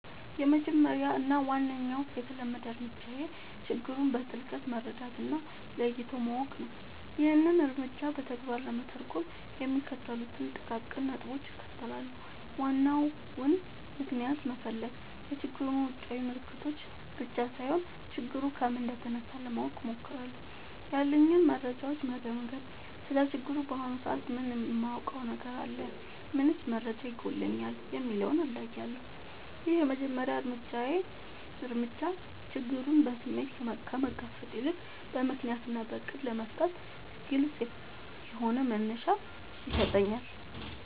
—የመጀመሪያው እና ዋነኛው የተለመደ እርምጃዬ ችግሩን በጥልቀት መረዳት እና ለይቶ ማወቅ ነው። ይህንን እርምጃ በተግባር ለመተርጎም የሚከተሉትን ጥቃቅን ነጥቦች እከተላለሁ፦ ዋናውን ምክንያት መፈለግ፣ የችግሩን ውጫዊ ምልክቶች ብቻ ሳይሆን፣ ችግሩ ከምን እንደተነሳ ለማወቅ እሞክራለሁ። ያሉኝን መረጃዎች መገምገም: ስለ ችግሩ በአሁኑ ሰዓት ምን የማውቀው ነገር አለ? ምንስ መረጃ ይጎድለኛል? የሚለውን እለያለሁ። ይህ የመጀመሪያ እርምጃ ችግሩን በስሜት ከመጋፈጥ ይልቅ በምክንያት እና በዕቅድ ለመፍታት ግልጽ የሆነ መነሻ ይሰጠኛል።